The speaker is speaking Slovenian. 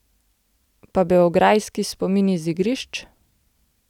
Pa beograjski spomini z igrišč?